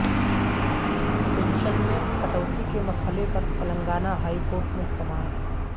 pension میں کٹوتی کے مسئلہ پر تلنگانہ ہائی کورٹ میں سماعت